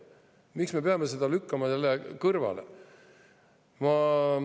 Miks me peame seda lükkama jälle kõrvale?